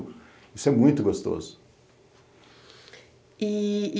Isso é muito gostoso. E